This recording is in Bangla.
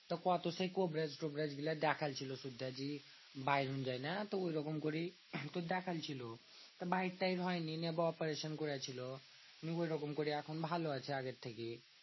তো কত সেই কবিরাজ টোবিরাজ গুলা দেখাইল ছিল, ওটা যদি বাইরেন যায় না? তো ঐরকম করেই দেখাইন ছিল। বাহির টাহির হয়নি নিয়ে operation করেছিল। নিয়ে ঐরককম করে এখন ভালো আছে আগের থেকে।